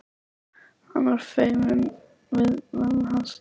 Hann var feiminn við mömmu hans Lalla.